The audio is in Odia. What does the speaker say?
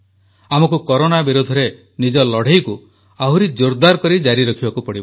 ଆମକୁ କରୋନା ବିରୋଧରେ ନିଜ ଲଢ଼େଇକୁ ଆହୁରି ଜୋରଦାର କରି ଜାରି ରଖିବାକୁ ପଡିବ